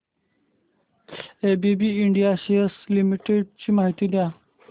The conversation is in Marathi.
एबीबी इंडिया लिमिटेड शेअर्स ची माहिती द्या